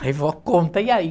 Aí vó, conta, e aí?